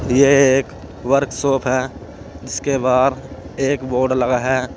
यह एक वर्कशॉप है जिसके बाहर एक बोर्ड लगा है।